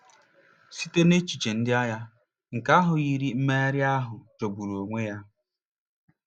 Site n'echiche ndị agha, nke ahụ yiri mmegharị ahụ jọgburu onwe ya.